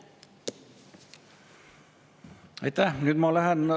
Aitäh!